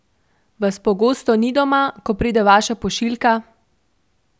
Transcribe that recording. Vas pogosto ni doma, ko pride vaša pošiljka?